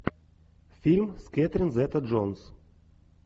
фильм с кэтрин зета джонс